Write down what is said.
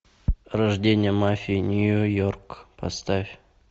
рождение мафии нью йорк поставь